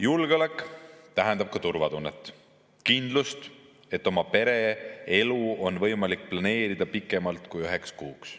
Julgeolek tähendab ka turvatunnet, kindlust, et oma ja oma pere elu on võimalik planeerida pikemalt kui üheks kuuks.